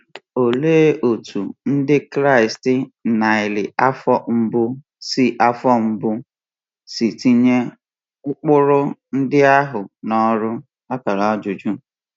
Olee otú Ndị Kraịst narị afọ mbụ si afọ mbụ si tinye ụkpụrụ ndị ahụ n’ọrụ?